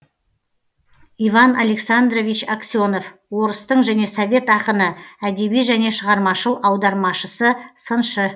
иван александрович аксенов орыстың және совет ақыны әдеби және шығармашыл аудармашысы сыншы